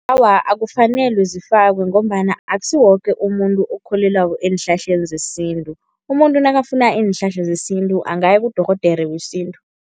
Awa, akufanele zifakwe ngombana akusiwo woke umuntu okholelwako eenhlahleni zesintu. Umuntu nakafuna iinhlahla zesintu angaya kudorhodere wesintu.